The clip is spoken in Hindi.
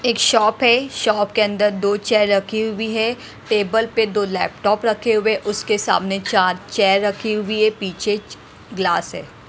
एक शॉप है शॉप के अंदर दो चेयर रखी हुई है टेबल पे दो लैपटॉप रखे हुए उसके सामने चार चेयर रखी हुई है पीछे गिलास है।